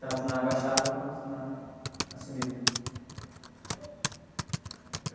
Tanto na baixada, quanto na, na subida.